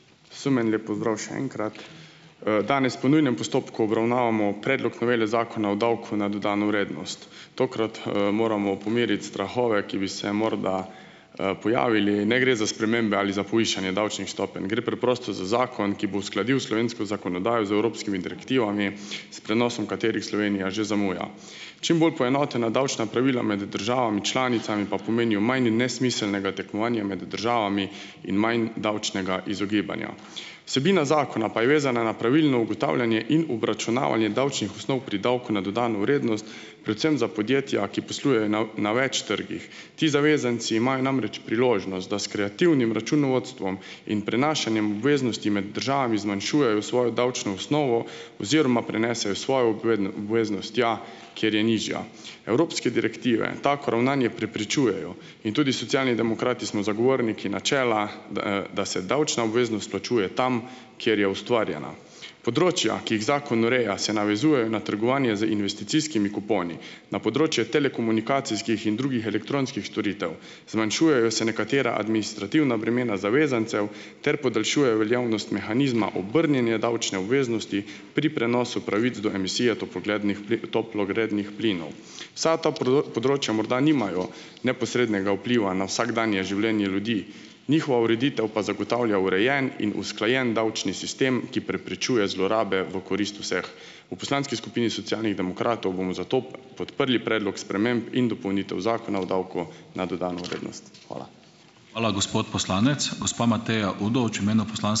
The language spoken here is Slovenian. Vsem en lep pozdrav še enkrat. Danes po nujnem postopku obravnavamo predlog novele Zakona o davku na dodano vrednost. Tokrat, moramo pomiriti strahove, ki bi se morda, pojavili. Ne gre za spremembe ali za povišanje davčnih stopenj. Gre preprosto za zakon, ki bo uskladil slovensko zakonodajo z evropskimi direktivami, s prenosom katerih Slovenija že zamuja. Čim bolj poenotena davčna pravila med državami članicami pa pomenijo manj in nesmiselnega tekmovanja med državami in manj davčnega izogibanja. Vsebina zakona pa je vezana na pravilno ugotavljanje in obračunavanje davčnih osnov pri davku na dodano vrednost. Predvsem za podjetja, ki poslujejo na na več trgih. Ti zavezanci imajo namreč priložnost, da s kreativnim računovodstvom in prenašanjem obveznosti med državami zmanjšujejo svojo davčno osnovo oziroma prenesejo svojo obveznost tja, kjer je nižja. Evropske direktive tako ravnanje preprečujejo in tudi Socialni demokrati smo zagovorniki načela, da, da se davčna obveznost plačuje tam, kjer je ustvarjena. Področja, ki jih zakon ureja, se navezujejo na trgovanje z investicijskimi kuponi na področje telekomunikacijskih in drugih elektronskih storitev. Zmanjšujejo se nekatera administrativna bremena zavezancev ter podaljšuje veljavnost mehanizma obrnjene davčne obveznosti pri prenosu pravic do emisije toploglednih toplogrednih plinov. Vsa ta področja morda nimajo neposrednega vpliva na vsakdanje življenje ljudi, njihova ureditev pa zagotavlja urejen in usklajen davčni sistem, ki preprečuje zlorabe v korist vseh. V poslanski skupini Socialnih demokratov bomo zato pod prli predlog sprememb in dopolnitev Zakona o davku na dodano vrednost. Hvala.